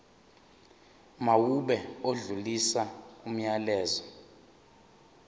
mawube odlulisa umyalezo